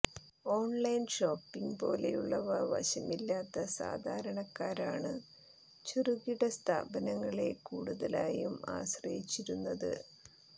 online shopping പോലെയുള്ളവ വശമില്ലാത്ത സാധാരണക്കാരാണ് ചെറുകിട സ്ഥാപനങ്ങളെ കൂടുതലായും ആശ്രയിച്ചിരുന്നത്